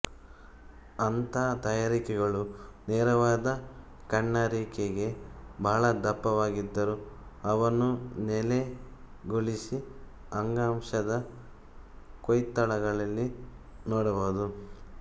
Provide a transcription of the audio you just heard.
ಅಂಥ ತಯಾರಿಕೆಗಳು ನೇರವಾದ ಕಣ್ಣರಿಕೆಗೆ ಬಹಳ ದಪ್ಪವಾಗಿದ್ದರೂ ಅವನ್ನು ನೆಲೆಗೊಳಿಸಿ ಅಂಗಾಂಶದ ಕೊಯ್ತಗಳಲ್ಲಿ ನೋಡಬಹುದು